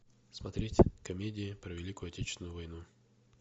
смотреть комедии про великую отечественную войну